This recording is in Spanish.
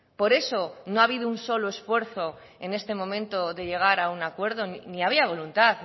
por eso no ha habido un solo esfuerzo en este momento de llegar a un acuerdo ni había voluntad